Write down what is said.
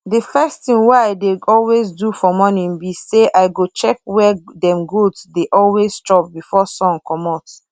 the first thing wey i dey always do for morning be sayi go check where dem goats dey always chop before sun comot